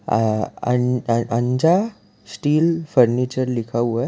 आ अन अंजा steel furniture लिखा हुआ है।